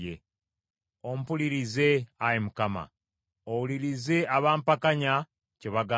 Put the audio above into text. Ompulirize, Ayi Mukama , owulirize abampakanya kye bagamba.